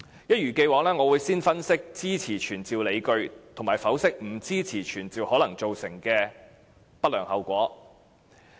一如既往，我會先分析支持傳召議案的理據，以及剖析不支持這樣做可能造成的不良後果。